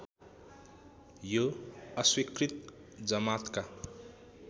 यो अस्वीकृत जमातका